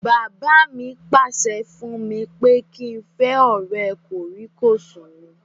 Bàbá mi pàṣẹ fún mi pé kí n fẹ́ ọ̀rẹ́ kòríkòsùn mi